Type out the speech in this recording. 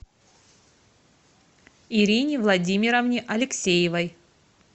ирине владимировне алексеевой